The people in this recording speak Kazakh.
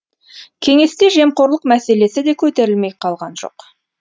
кеңесте жемқорлық мәселесі де көтерілмей қалған жоқ